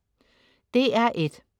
DR1: